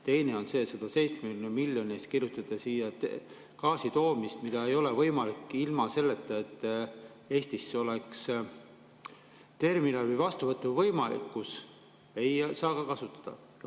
Teine on see, et 170 miljoni eest kirjutada siia gaasi toomise jaoks, mis ei ole võimalik ilma selleta, et Eestis oleks terminali vastuvõtuvõime – seda ei saa ka kasutada.